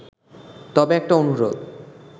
তবে একটা অনুরোধ